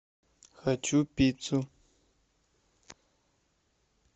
хочу пиццу